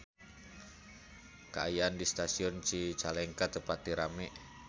Kaayaan di Stasiun Cicalengka teu pati rame